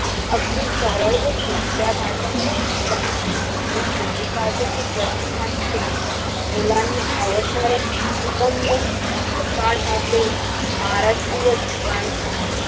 अगदी सरळ व सोप्या भाषेत सांगितलं आहे, मुळ हिंदी भाषेतील ग्रंथांचे मुलांना आवडणाऱ्या उगम व सकाड भाषेत महाराष्ट्रीय विद्वान श्री